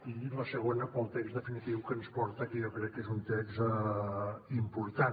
i el segon pel text definitiu que ens porta que jo crec que és un text important